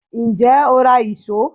Ǹjẹ́ o ra ìṣó?